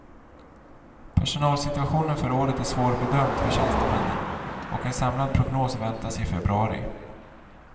Personalsituationen för året är svårbedömd för tjänstemännen och en samlad prognos väntas i februari.